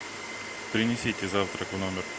принесите завтрак в номер